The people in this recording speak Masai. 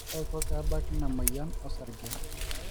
kaiko pee ebaki ina moyian osarge